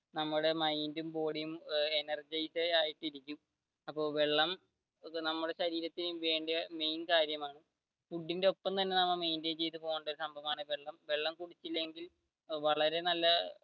നമ്മുടെ mind ഉം body ഉം energectic ആയിട്ട് ഇരിക്കും അപ്പൊ വെള്ളം നമ്മുടെ ശരീരത്തിന്റെ mamain കാര്യമാണ് ഫുഡിന്റെ ഒപ്പം തന്നെ maintain ചെയ്തു പോവേണ്ട ഒരു സംഭവമാണ് വെള്ളം വെള്ളം കുടിച്ചില്ലെങ്കിൽ വളരെ നല്ല